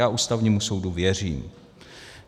Já Ústavnímu soudu věřím.